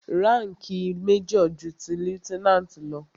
Ránkìì major ju ti lieutenant lọ.